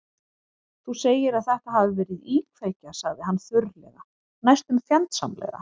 Þú segir að þetta hafi verið íkveikja- sagði hann þurrlega, næstum fjandsamlega.